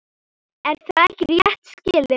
Er það ekki rétt skilið?